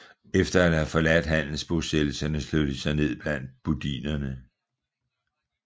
Efter at have forladt handelsbosættelserne slog de sig ned blandt budinerne